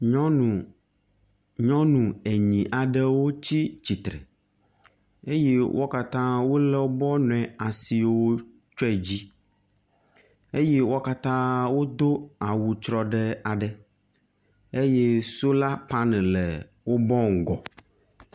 Nyɔnu, nyɔnu enyi aɖewo tsi tsitre eye wo katã wolɔ